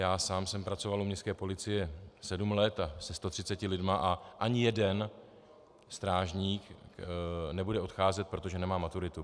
Já sám jsem pracoval u městské policie sedm let se 130 lidmi a ani jeden strážník nebude odcházet proto, že nemá maturitu.